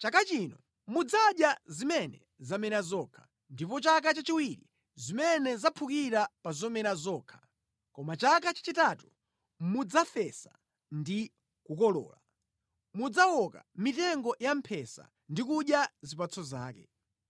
“Chaka chino mudzadya zimene zamera zokha, ndipo chaka chachiwiri zimene zaphukira pa zomera zokha, koma chaka chachitatu mudzafesa ndi kukolola, mudzawoka mitengo yamphesa ndi kudya zipatso zake.